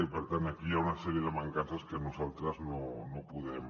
i per tant aquí hi ha una sèrie de mancances que nosaltres no podem